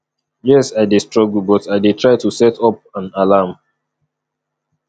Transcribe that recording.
yes i dey struggle but i dey try to set up an alarm